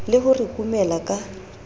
le ho re kumela ka